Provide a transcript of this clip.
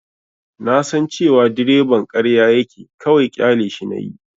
Na san cewa direban ƙarya yake, kawai ƙyaleshi nayi.